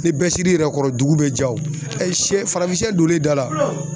Ni bɛɛ siri yɛrɛ kɔrɔ dugu be ja wo ɛ sɛ farafinsɛ donnen da la